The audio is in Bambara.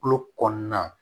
Tulo kɔnɔna